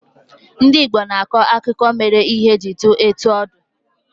Ndị Igbo na-akọ akụkọ mere ihe ji di etu o di